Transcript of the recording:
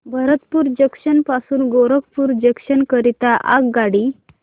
Bharatpur junction पासून Gorakhpur junction करीता आगगाडी